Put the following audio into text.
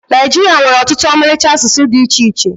Naịjiria nwere ọtụtụ ọmalịcha asụsụ dị iche iche